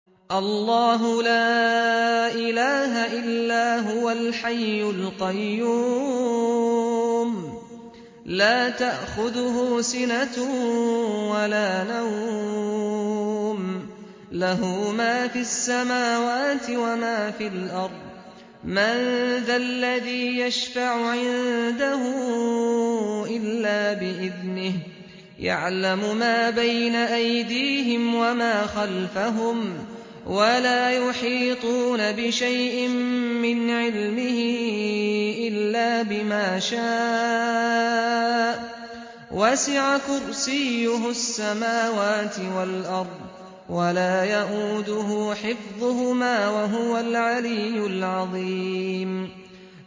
اللَّهُ لَا إِلَٰهَ إِلَّا هُوَ الْحَيُّ الْقَيُّومُ ۚ لَا تَأْخُذُهُ سِنَةٌ وَلَا نَوْمٌ ۚ لَّهُ مَا فِي السَّمَاوَاتِ وَمَا فِي الْأَرْضِ ۗ مَن ذَا الَّذِي يَشْفَعُ عِندَهُ إِلَّا بِإِذْنِهِ ۚ يَعْلَمُ مَا بَيْنَ أَيْدِيهِمْ وَمَا خَلْفَهُمْ ۖ وَلَا يُحِيطُونَ بِشَيْءٍ مِّنْ عِلْمِهِ إِلَّا بِمَا شَاءَ ۚ وَسِعَ كُرْسِيُّهُ السَّمَاوَاتِ وَالْأَرْضَ ۖ وَلَا يَئُودُهُ حِفْظُهُمَا ۚ وَهُوَ الْعَلِيُّ الْعَظِيمُ